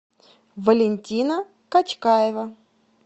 валентина качкаева